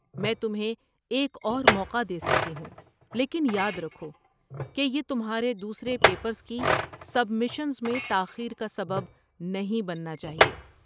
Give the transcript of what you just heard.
میں تمہیں ایک اور موقع دے سکتی ہوں، لیکن یاد رکھو کہ یہ تمہارے دوسرے پیپرز کی سبمیشنز میں تاخیر کا سبب نہیں بننا چاہیے۔